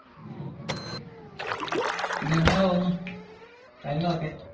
പിന്നെ എങ്ങനെ പോകുന്നു കാര്യങ്ങളൊക്കെ?